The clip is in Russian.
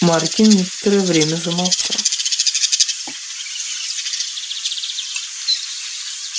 маркин некоторое время замолчал